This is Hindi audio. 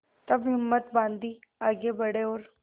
तब हिम्मत बॉँधी आगे बड़े और